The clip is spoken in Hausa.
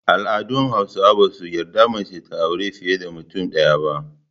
Al’adun Hausawa ba su yarda mace ta auri fiye da mutum ɗaya ba.